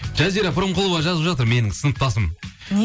жазира пірімқұлова жазып жатыр менің сыныптасым